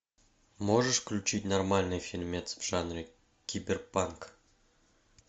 можешь включить нормальный фильмец в жанре киберпанк